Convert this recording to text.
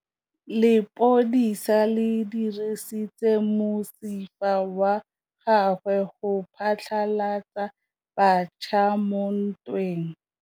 Lepodisa le dirisitse mosifa wa gagwe go phatlalatsa batšha mo ntweng.